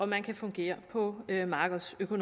man kan fungere på markedsvilkår